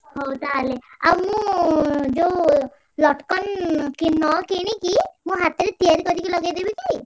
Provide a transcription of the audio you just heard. ହଉ ତାହେଲେ ଆଉ ମୁଁ ଯୋଉ ଲଟ୍ କନ୍ ~କି ନ କିଣିକି ମୁଁ ହାତରେ ତିଆରି କରିକି ଲଗେଇଦେବି କି?